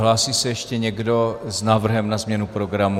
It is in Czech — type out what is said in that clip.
Hlásí se ještě někdo s návrhem na změnu programu?